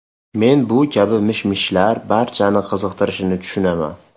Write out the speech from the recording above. Men bu kabi mish-mishlar barchani qiziqtirishini tushunaman.